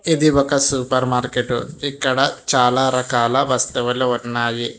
ఇది ఒక super market ఇక్కడ చాలా రకాల వస్తువులు ఉన్నాయి.